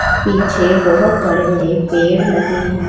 पीछे बहोत बड़े बड़े पेड़ लगे हैं।